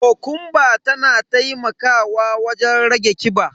Kokumba tana taimakawa wajen rage kiba.